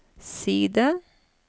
side